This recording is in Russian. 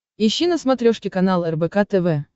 ищи на смотрешке канал рбк тв